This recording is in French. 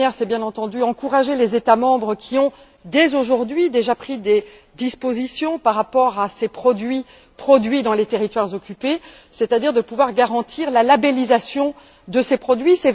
La première est bien entendu d'encourager les États membres qui ont dès aujourd'hui pris des dispositions par rapport à ces produits issus des territoires occupés, c'est à dire de pouvoir garantir la labellisation de ces produits.